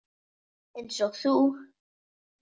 Einsog þú.